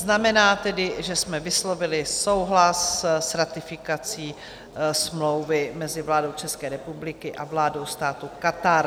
Znamená tedy, že jsme vyslovili souhlas s ratifikací smlouvy mezi vládou České republiky a vládou státu Katar.